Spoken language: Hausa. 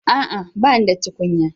A'a! Ba ni da tukunya.